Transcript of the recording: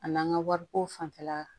A n'an ka wariko fanfɛla